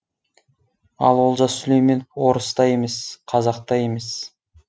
ал олжас сүлейменов орыс та емес қазақ та емес